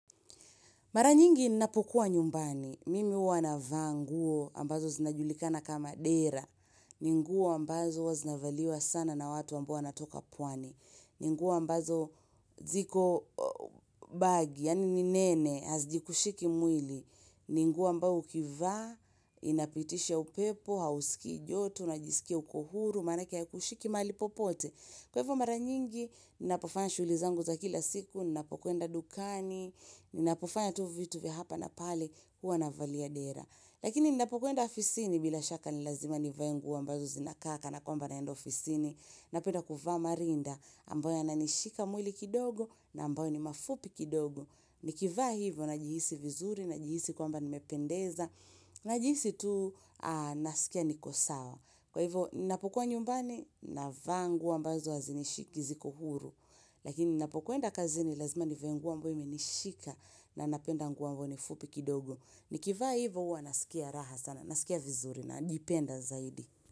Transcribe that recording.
Mara nyingi ninapokua nyumbani. Mimi huwa navaa nguo ambazo zinajulikana kama dera. Ninguo ambazo huwa zinavaliwa sana na watu ambo wanatoka pwani. Ninguo ambazo ziko bagi, yani ninene, hazikushiki mwili. Ninguo ambao ukivaa, inapitisha upepo, hausikijoto, unajisikia ukohuru, manake haikushiki mali popote. Kwahivo mara nyingi, ninapofanya shughulizangu za kila siku, ninapokuenda dukani, Ninapofanya tu vitu vya hapa na pale huwa na valia dera, Lakini ninapokuenda afisini bila shaka ni lazima ni vae nguo mbazo zinakaa kana kwamba na enda ofisini. Napenda kuvaa marinda ambayo yananishika mwili kidogo na ambayo ni mafupi kidogo Nikivaa hivyo najihisi vizuri najihisi kwamba nimependeza najihisi tu nasikia niko sawa. Kwa hivyo ninapokuwa nyumbani navaa nguo ambazo hazinishiki ziko huru Lakini napokuenda kazini lazima nivae nguo ambayo imenishika na napenda nguo ambayo nifupi kidogo, Nikivaa hivo huwa nasikia raha sana Nasikia vizuri na naipenda zaidi.